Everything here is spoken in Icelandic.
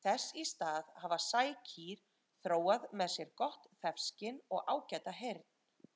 Þess í stað hafa sækýr þróað með sér gott þefskyn og ágæta heyrn.